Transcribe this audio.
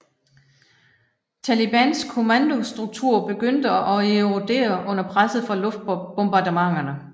Talibans kommandostruktur begyndte at erodere under presset fra luftbombardementerne